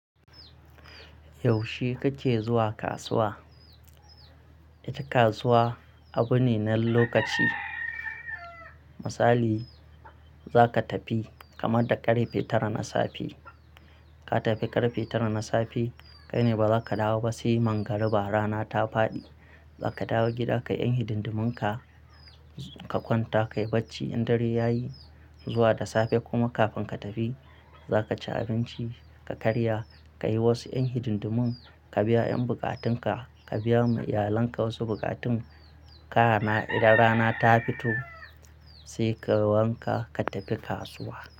Yaushe kake zuwa kasuwa? Ita kasuwa abu ne na lokaci. Misali za ka tafi kamar da ƙarfe tara na safe. Ka tafi ƙarfe tara na safe kai ne ba za ka dawo ba sai mangariba rana ta faɗi. Za ka dawo gida kai 'yan hidindumunka, ka kwanta ka yi bacci in dare ya yi zuwa da safe kuma kafin ka tafi za ka ci abinci ka karya, ka yi wasu 'yan hidindumin, ka biya 'yan bukatunka, ka biya ma iyalanka wasu bukatun ka. Idan rana ta fito sai kai wanka ka tafi kasuwa.